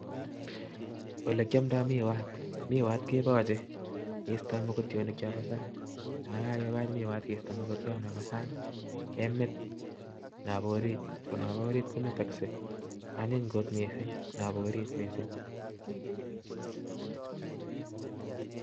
Olekyamdai. miwaat miwaat kepache Krista mogotionik. chepo saang agemit Chapa orit anyiny. kot. missing